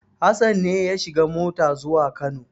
Hassan ne ya shiga mota zuwa Kano.